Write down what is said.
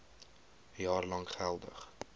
jaar lank geldig